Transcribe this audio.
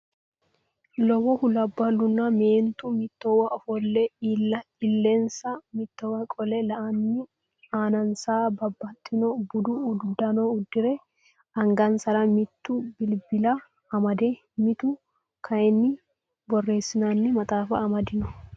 Lowohu labballunna meentu mittowa ofolle illensa mittowa qole la"anni aanansa babbaxxino budu uddano uddire angansara mitu bilbila amade mitu kayinni borreessinanni maxaaffa amadino